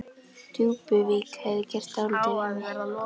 Djúpuvík hefði gert dálítið við mig.